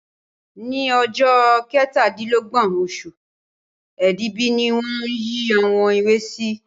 Ní ọjọ́ kẹtàdílọ́gbọ̀n oṣù Èbìbí ni wọ́n yìí àwọn èwe sí